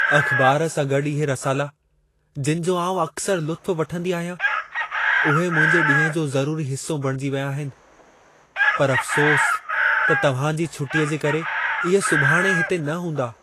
अख़बार सां गॾु इहे रसाला जिनि जो आउं अक्सरि लुत्फ़ु वठंदी आहियां, उहे मुंहिंजे ॾींहं जो ज़रूरी हिस्सो बणिजी विया आहिनि, पर अफ़सोसु त तव्हां जी छुटीअ जे करे, इहे सुभाणे हिते न हूंदा।